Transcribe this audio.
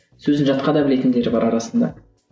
сөзін жатқа да білетіндері бар арасында